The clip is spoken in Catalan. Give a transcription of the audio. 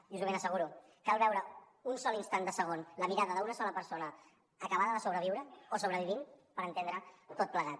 i us ho ben asseguro cal veure un sol instant de segon la mirada d’una sola persona acabada de sobreviure o sobrevivint per entendre ho tot plegat